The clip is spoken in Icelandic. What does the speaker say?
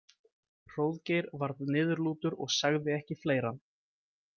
Hróðgeir varð niðurlútur og sagði ekki fleira.